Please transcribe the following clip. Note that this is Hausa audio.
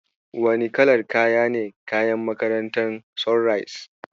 Wane kalar kaya ne kayan makarantar Sunrise?